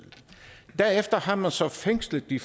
derefter har man så fængslet de